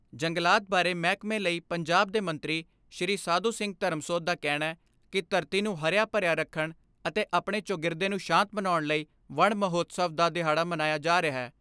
ਜੰਗਲਾਤ ਬਾਰੇ ਮਹਿਕਮੇ ਲਈ ਪੰਜਾਬ ਦੇ ਮੰਤਰੀ ਸ਼੍ਰੀ ਸਾਧੂ ਸਿੰਘ ਧਰਮਸੋਤ ਦਾ ਕਹਿਣੈ ਕਿ ਧਰਤੀ ਨੂੰ ਹਰਿਆ ਭਰਿਆ ਰੱਖਣ ਅਤੇ ਆਪਣੇ ਚੌਗਿਰਦੇ ਨੂੰ ਸ਼ਾਂਤ ਬਣਾਉਣ ਲਈ ਵਣ ਮਹਾਉਤਸਵ ਦਾ ਦਿਹਾੜਾ ਮਨਾਇਆ ਜਾ ਰਿਹੈ।